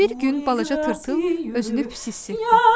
Bir gün balaca tırtıl özünü pis hiss etdi.